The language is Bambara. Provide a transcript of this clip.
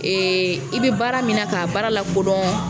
Ee i bɛ baara min na k'a baara lakodɔn